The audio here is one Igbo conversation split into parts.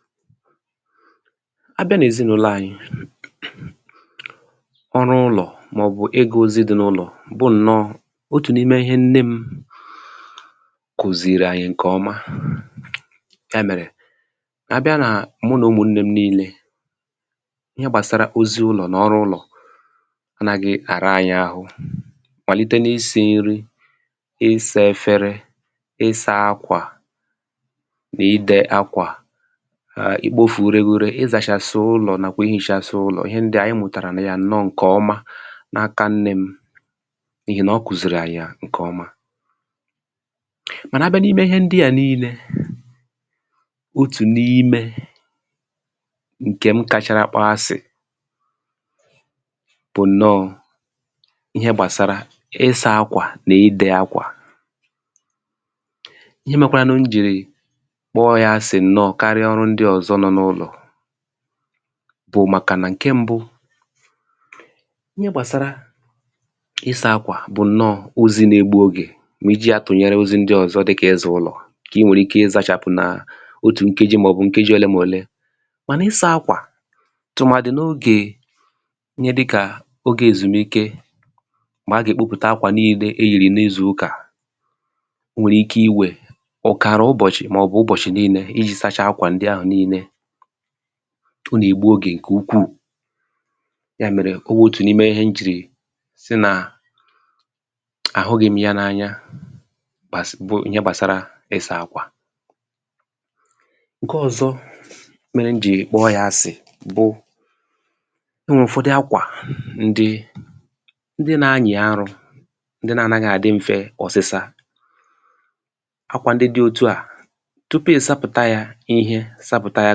file 119 a bịa n’ezinụlọ anyị ọrụ ụlọ̀ mà ọ̀ bụ̀ ịgā ozi dị n’ụnọ̀ bụ ǹnọ otù n’ime ihe nne kùzìrì ànyị ǹkẹ̀ ọma yà mẹ̀rẹ̀ a bịa na mụ nà ụmụnnē m nille ihẹ gbàsara ozi ụlọ̀ nà ọrụ ụlọ̀ na dị àra anyị arụ màlite n’isī nrī ị sā ẹfẹrẹ ị sa akwà nà ị dẹ akwà nà ikpōfù ure ure ị zàchàsị̀ ụlọ̀ nàkwà ihīchasị ụlọ̀ ịhẹ ndịà anyị mụ̀tàrànà ya ǹnọ ǹkẹ̀ ọma na aka nnē m n’ihì nà ọ kùzìrì yà ǹkẹ̀ ọma mànà abịa n’ime ịhẹ ndịà nille otù n’imẹ ǹkẹ̀ m kachara kpọ asị̀ bụ̀ ǹnọ ihẹ gbàsara ịsā akwà nà ịdẹ̄ akwà ihẹ mẹkwaranụ m jìrì kpọ ya asị̀ ǹnọ karịa ọrụ ndị ọ̀zọ no n’ụlọ̀ bụ̀ màkà nà ǹkẹ mbụ ihẹ gbàsara ịsa akwà bụ̀ ǹnọ ozi na egbu ogè mà iji ya tụ̀nyẹrẹ ozi ndị ọ̀zọ dịkà ịzà ụlọ̀ ǹkẹ̀ ị nwẹ̀rẹ̀ ike ịzāchàpụ̀ nà otù nkeji mà ọ̀ bụ̀ nkeji olee mà olee mànà ịsā akwà tụ̀màdị̀ n’ogè ihẹ dịkà ogē èzùmike mà agà èkpopute akwà nille e yìrì n’ịzụ̀ ụkà o nwèrè ike ịwe ọ̀kàrà ụbọ̀chị̀ mà ọ̀ bụ̀ ụbọ̀chị̀ nille ijī sacha akwà ahụ̀ nille o nà ègbu ogè ǹkè ukwù yà mẹ̀rẹ̀ ọ wụ otù n’ime ịhẹ m jìrì sị nà àhụghị m ya na anya gbàsara ihe gbàsarà ịsā akwà ǹkẹ ọzọ mẹrẹ m jì kpọ ya asì bụ o nwẹ ụ̀fọdị akwà ndị ndị na anyị̀ arụ̄ ndị na anaghị àdị mfẹ ọsịsa akwà ndị dị otuà tupù ị̀ sapụ̀ta ya ihe sapụ̀ta ya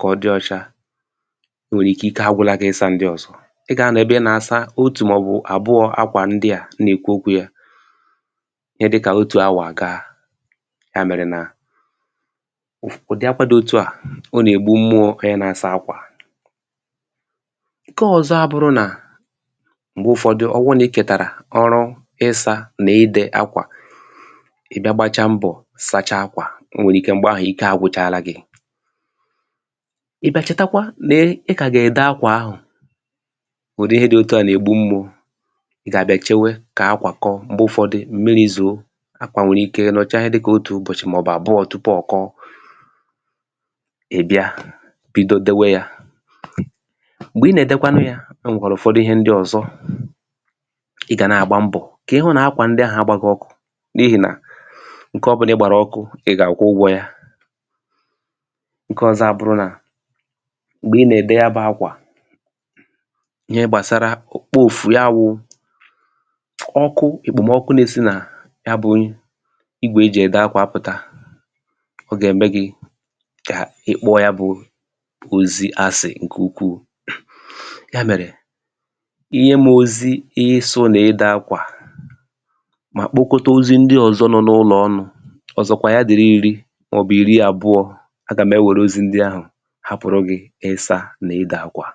kà ọ dị ocha o nwèrè ike ike agwụla gị ịsa ndị ọzọ ị gà anọ̀ ebe ị nọ̀ àsa otù mà ọ̀ bụ̀ àbụọ akwà ndịà m nà èkwu okwū ya ihẹ dịkà otù awà à ga yà mẹ̀rẹ̀ nà ụ̀dị akwā dị otuà ọ nà ègbu mmụọ I nà asa akwà ǹkẹ ọzọ abụrụ nà m̀gbẹ ụfọdụ ọ wụ nà ịkẹ̀tàrà ọrụ ịsā nà ịdẹ akwà ị bịa gbacha mbọ̀ sacha akwà o nwèrè ike m̀gbẹ ahụ̀ ike agwụchala gị̄ ị̀ bịa chẹtakwa nà ị kà gà ẹ̀dẹ akwà ahụ̀ bụ nà ịhẹ dị etuà nà ègbu mgbu gà àbịa chewe kà akwà kọ m̀gbẹ ụfọdị m̀miri zòo akwà nwẹ̀rẹ̀ ike nọ̀cha ịhẹ dịkà otù ụbọ̀chị̀ mà ọ̀ bụ àbụọ tupù ọ̀ kọ ị̀ bịa bido dewe ya m̀gbè ị nà èdekwanụ ya ọ nwẹ̀rẹ̀ ụ̀fọdụ ihẹ ndị ọ̀zọ ị gà nà àgba mbọ̀ hụ nà akwà ndị ahụ agbaghị ọkụ n’ihì nà ǹkẹ ọbụlà ị gbàrà ọkụ ị gà àkwụ ụgwọ̄ ya ǹkẹ ọzọ àbụru nà m̀gbè ị nà ède ya bụ akwà ịhẹ gbàsara okpo òfù ya wụ ọkụ èkpòmọkụ na esi nà ya bụ igwè e jì ẹ̀dẹ akwà apụ̀ta o gà ème gị kà ị kpọ ya bụ ozi asị ǹkẹ̀ ukwù yà mẹ̀rẹ̀ ịnyẹ m ozi ịsụ̄ nà idẹ akwà mà kpokọta ozi ndị ọzọ nọ n’ụlọ̀ ọnụ ọsọkwa ya ya dị̀rị iri mà ọ̀ bụ̀ ìri àbụọ a gà m ẹwẹrẹ ozi ndi ahụ̀ hapụ̀rụ gị isā nà ịdẹ akwà